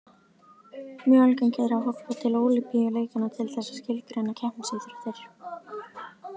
Mjög algengt er að horfa til Ólympíuleikanna til þess að skilgreina keppnisíþróttir.